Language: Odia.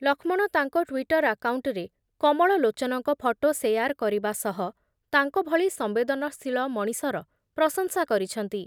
ଲକ୍ଷ୍ମଣ ତାଙ୍କ ଟ୍ଵିଟର ଆକାଉଣ୍ଟରେ କମଳଲୋଚନଙ୍କ ଫଟୋ ସେୟାର କରିବା ସହ ତାଙ୍କ ଭଳି ସମ୍ବେଦନଶୀଳ ମଣିଷର ପ୍ରଶଂସା କରିଛନ୍ତି ।